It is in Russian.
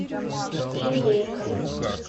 с индейкой